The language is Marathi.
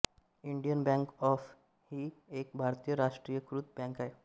इंडियन बँक ही एक भारतीय राष्ट्रीयीकृत बँक आहे